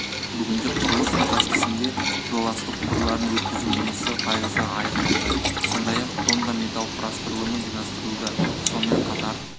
бүгінде құрылыс учаскесінде жоласты құбырларын өткізу жұмысы пайызға аяқталды сондай-ақ тонна металл құрастырылымы жинастырылды сонымен қатар